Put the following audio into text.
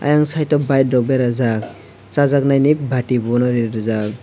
ayang side o bike rok berajak chajaknaini bati bono rijak.